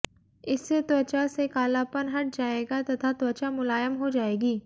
इससे त्वचा से कालापन हट जाएगा तथा त्वचा मुलायम हो जाएगी